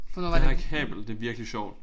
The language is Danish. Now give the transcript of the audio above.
Det her kabel det er virkelig sjovt